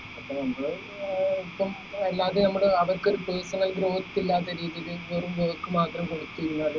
അപ്പൊ നമ്മൾ ഏർ ഇപ്പം അല്ലതെ നമ്മടെ അവർക്ക് ഒരു personal growth ഇല്ലാത്ത രീതിയിൽ വെറും work മാത്രം കൊടുക്കുന്ന